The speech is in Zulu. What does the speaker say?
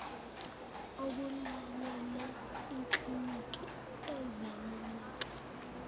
akulayele ikliniki yezaluleko